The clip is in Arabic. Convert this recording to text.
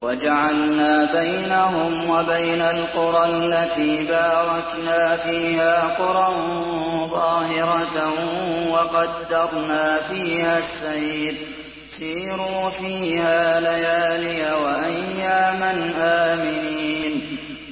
وَجَعَلْنَا بَيْنَهُمْ وَبَيْنَ الْقُرَى الَّتِي بَارَكْنَا فِيهَا قُرًى ظَاهِرَةً وَقَدَّرْنَا فِيهَا السَّيْرَ ۖ سِيرُوا فِيهَا لَيَالِيَ وَأَيَّامًا آمِنِينَ